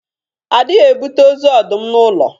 A dịghị ebute ọzu ọdụm n’ụlọ